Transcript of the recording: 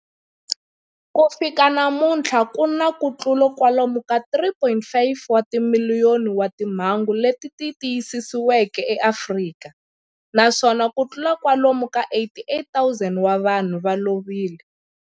Ku fika namuntlha ku na kutlula kwalomu ka 3.5 wa timiliyoni wa timhangu leti tiyisisiweke eAfrika, naswona kutlula kwalomu ka 88,000 wa vanhu va lovile.